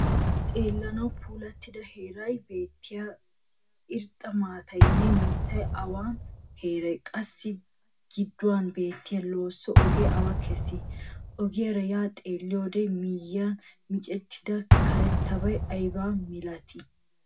Issi xeelanawu puulattida heeran beetiyaa irxxa maataynne miittay awan heere? Qassi giduwan beetiya losso oge awa keesi? Ogiyara ya xeeliyode miyian miccettida karettabay ayba milatti?